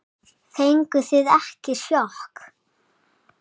Fenguð þið ekki sjokk?